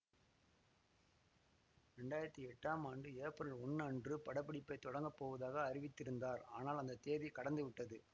இரண்டாயிரத்தி எட்டாம் ஆண்டு ஏப்ரல் ஒன்னு அன்றுபடப்பிடிப்பைத் தொடங்கப்போவதாக அறிவித்திருந்தார் ஆனால் அந்த தேதி கடந்துவிட்டது